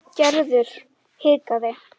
Gerður hikaði.